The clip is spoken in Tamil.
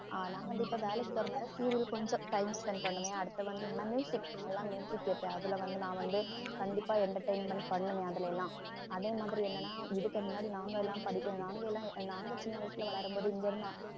ஆஹ் நான் வந்து இப்ப வேலைக்கு போறதுனால serial கொஞ்சம் time spend பண்ணுவேன் அடுத்து வந்து என்னென்னா நல்லா கேட்டு அதுல வந்து நான் வந்து கண்டிப்பா entertainment பண்ணுவேன் அதுல எல்லாம் அதே மாதிரி என்னென்னா இதுக்கு முன்னாடி நாங்க எல்லாம் படிக்கிற நாங்க எல்லாம் நாங்க சின்ன வயசுல வளரும்போது இங்க இருந்து